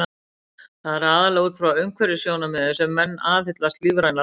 Það er aðallega út frá umhverfissjónarmiðum sem menn aðhyllast lífræna ræktun.